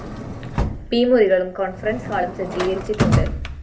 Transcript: P മുറികളും conference ഹാളും സജ്ജീകരിച്ചിട്ടുണ്ട്